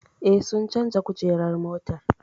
Eh, sun canja kujerar motar